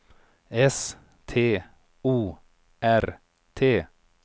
S T O R T